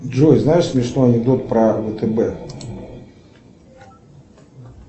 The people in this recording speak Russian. джой знаешь смешной анекдот про втб